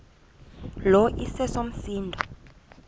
lo iseso msindo